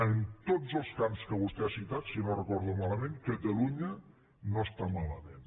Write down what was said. en tots els camps que vostè ha citat si no ho recordo malament catalunya no està malament